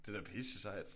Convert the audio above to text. Det er da pisse sejt